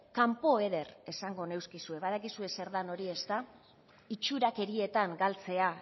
kanpoeder esango neuskizu badakizue zer den hori ezta itxurakerietan galtzea